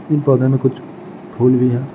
ई पोधा में कुछ फुल भी है।